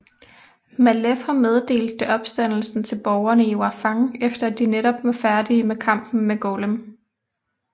Malefor meddelte opstandelsen til borgerne i Warfang efter at de netop var færdige med kampen med Golem